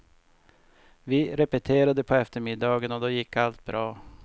Vi repeterade på eftermiddagen och då gick allt bra.